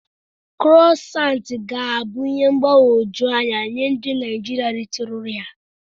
Krụasant ga na-abụ ihe mgbagwoju anya nye ndi Naijiria ritụrụ ya.